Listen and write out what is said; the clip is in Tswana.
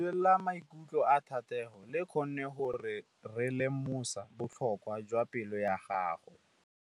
Lentswe la maikutlo a Thategô le kgonne gore re lemosa botlhoko jwa pelô ya gagwe.